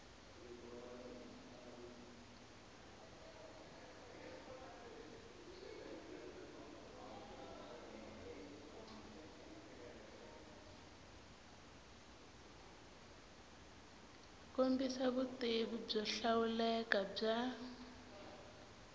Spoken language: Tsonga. kombisa vutivi byo hlawuleka bya